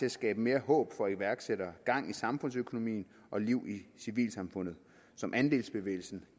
at skabe mere håb for iværksættere gang i samfundsøkonomien og liv i civilsamfundet som andelsbevægelsen